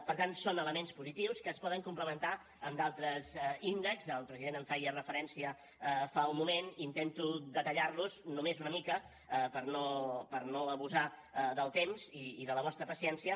per tant són elements positius que es poden complementar amb d’altres índexs el president en feia referència fa un moment intento detallar los només una mica per no abusar del temps i de la vostra paciència